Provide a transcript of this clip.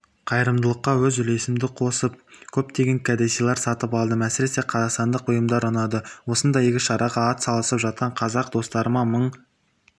қайырымдылыққа өз үлесімді қосып көптеген кәдесыйлар сатып алдым әсіресе қазақстандық бұйымдар ұнады осындай игі шараға ат салысып жатқан қазақ достарыма мың